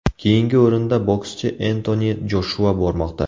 Keyingi o‘rinda bokschi Entoni Joshua bormoqda.